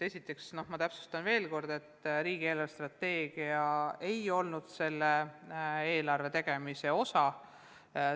Esiteks ma täpsustan veel kord, et riigi eelarvestrateegia ei olnud selle eelarve tegemise osa.